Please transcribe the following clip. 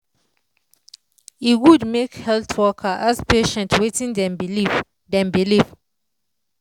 e good make health worker ask patient wetin dem believe. dem believe.